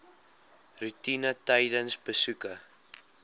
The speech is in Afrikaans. roetine tydens besoeke